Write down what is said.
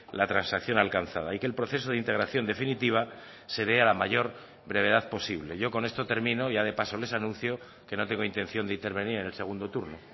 la transacción alcanzada y que el proceso de integración definitiva se dé a la mayor brevedad posible yo con esto termino ya de paso les anuncio que no tengo intención de intervenir en el segundo turno